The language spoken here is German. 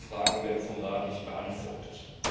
Aber diese Fragen werden vom Rat nicht beantwortet.